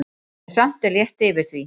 En samt er létt yfir því.